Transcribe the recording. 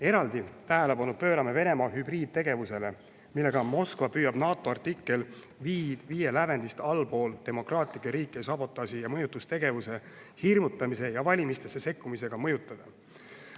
Eraldi tähelepanu pöörame Venemaa hübriidtegevusele, millega Moskva püüab demokraatlikke riike NATO artikkel 5 lävendist allapoole sabotaaži, mõjutustegevuse, hirmutamise ja valimistesse sekkumisega mõjutada.